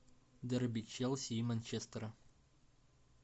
дерби челси и манчестера